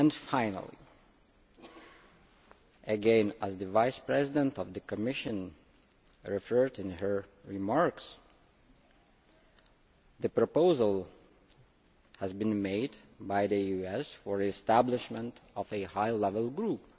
Finally, again as the Vice President of the Commission mentioned in her remarks, a proposal has been made by the US for the establishment of a high level group.